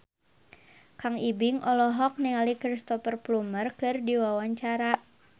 Kang Ibing olohok ningali Cristhoper Plumer keur diwawancara